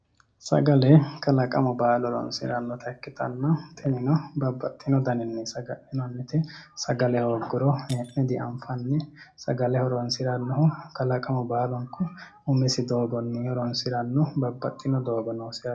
Sagale kalaqamu baallu horonsirannotta ikkittanna tinino babbaxitino danni noonsatta sagale hooguro heene dianfanni sagale horonsirano kalaqamu baallunku umisi doogonni horonsirano babbaxitino doogo noosi.